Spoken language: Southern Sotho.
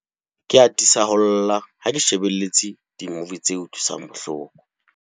Ke atisa ho lla ha ke lebelletse dimuvi tse utlwisang bohloko.